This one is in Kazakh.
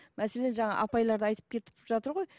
мәселен жаңа апайлар да айтып кетіп жатыр ғой